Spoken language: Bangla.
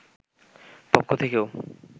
পক্ষ থেকেও